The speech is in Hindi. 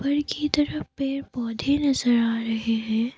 की तरफ पेड़ पौधे नजर आ रहे है।